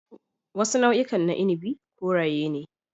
Wasu nau'ikan na inabi koraye ne.